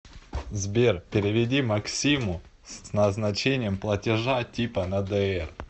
сбер переведи максиму с назначением платежа типа на др